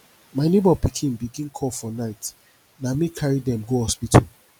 my nebor pikin begin cough for night na me carry dem go hospital